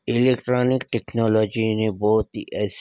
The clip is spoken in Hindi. इलेक्ट्रॉनिक टेक्नोलॉजी ने बहुत ही ऐसे--